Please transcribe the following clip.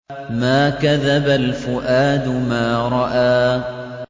مَا كَذَبَ الْفُؤَادُ مَا رَأَىٰ